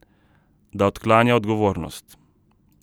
Da odklanja odgovornost.